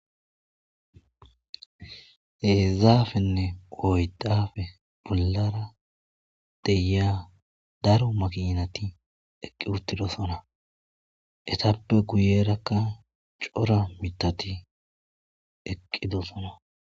heezaafenne oydafe bollara deyia daro maqinati eqqi uttidosona etappe kuyerakka cora mitati eqqidosona